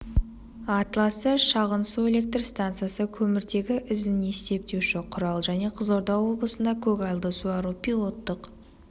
атласы шағын су электр стансасы көміртегі ізін есептеуші құрал және қызылорда облысында көгалды суару пилоттық